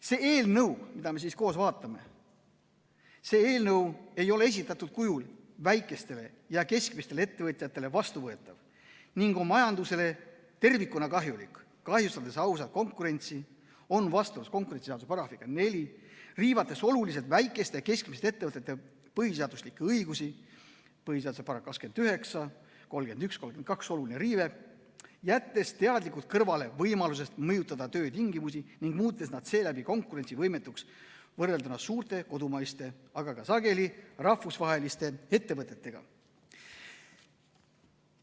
See eelnõu, mida me koos vaatame, ei ole esitatud kujul väikestele ja keskmistele ettevõtjatele vastuvõetav ning on majandusele tervikuna kahjulik, kahjustades ausat konkurentsi , riivates oluliselt väikeste ja keskmiste ettevõtete põhiseaduslikke õigusi , jättes teadlikult kõrvale võimaluse mõjutada töötingimusi ning muutes nad seeläbi konkurentsivõimetuks, võrrelduna suurte kodumaiste, aga sageli ka rahvusvaheliste ettevõtetega.